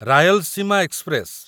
Rayalaseema express